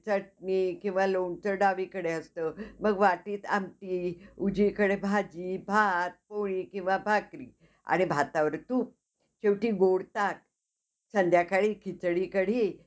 चटणी किंवा लोणचं डावीकडे असतं. मग वाटीत आमटी, उजवीकडे भाजी, भात, पोळी किंवा भाकरी आणि भातावर तूप, शेवटी गोड ताक, संध्यकाळी खिचडी कढी.